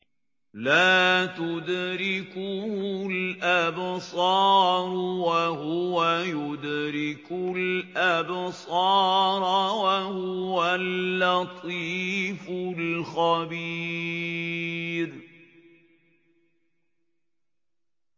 لَّا تُدْرِكُهُ الْأَبْصَارُ وَهُوَ يُدْرِكُ الْأَبْصَارَ ۖ وَهُوَ اللَّطِيفُ الْخَبِيرُ